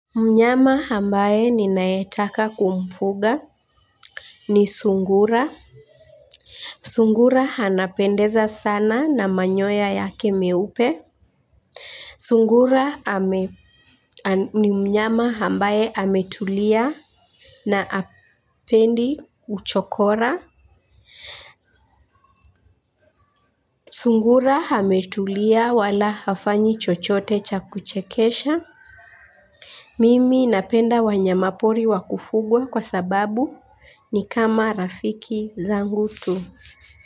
Mnyama ambaye ninayetaka kumfuga ni sungura. Sungura anapendeza sana na manyoya yake meupe. Sungura ni mnyama ambaye ametulia na hapendi uchokora. Sungura ametulia wala hafanyi chochote cha kuchekesha. Mimi napenda wanyamapori wa kufugwa kwa sababu ni kama rafiki zangu tu.